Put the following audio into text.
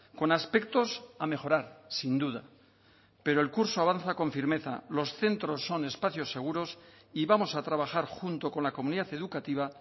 con aspectos a mejorar sin duda pero el curso avanza con firmeza los centros son espacios seguros y vamos a trabajar junto con la comunidad educativa